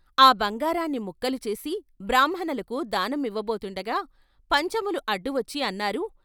ఆ బంగారాన్ని ముక్కలు చేసి బ్రాహ్మణులకు దానమివ్వబోతుం డగా పంచములు అడ్డువచ్చి అన్నారు.